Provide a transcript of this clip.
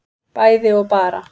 bæði og bara